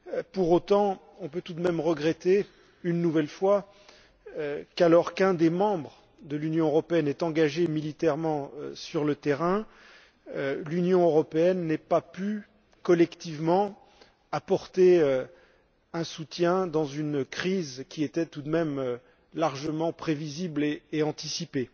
Pour autant, on peut tout de même regretter une nouvelle fois qu'alors qu'un des membres de l'Union européenne est engagé militairement sur le terrain, celle ci n'ait pas pu, collectivement, lui apporter un soutien dans une crise qui était tout de même largement prévisible et anticipée.